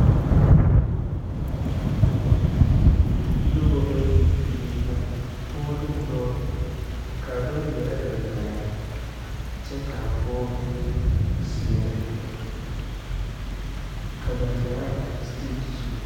Noba bayi mine la pɔge ne dɔɔ, kaa dɔɔ ŋmɛre gangaare kyɛ kaa pɔge mine a seɛrɛ, ka ba zaa are setekyi zuŋ.